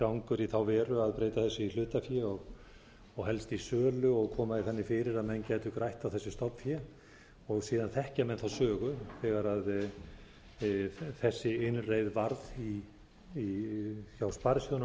ágangur í þá veru að breyta þessu í hlutafé og helst í sölu og koma því þannig fyrir að menn gætu grætt á þessu stofnfé síðan þekkja menn söguna þegar þessi innreið varð hjá sparisjóðunum líkt